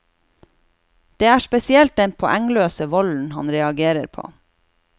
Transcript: Det er spesielt den poengløse volden han reagerer på.